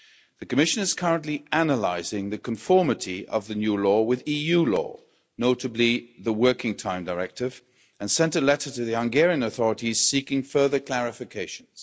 The Commission is currently analysing the conformity of the new law with EU law, notably, the Working Time Directive, and sent a letter to the Hungarian authorities seeking further clarifications.